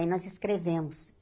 Aí nós escrevemos.